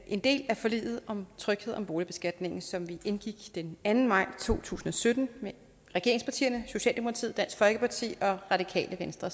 en del af forliget om tryghed om boligbeskatningen som vi indgik den anden maj to tusind og sytten med regeringspartierne socialdemokratiet dansk folkeparti og radikale venstre